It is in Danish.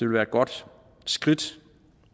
være et godt skridt